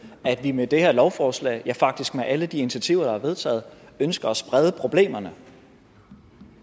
at vi med det her lovforslag faktisk med alle de initiativer der er vedtaget ønsker at sprede problemerne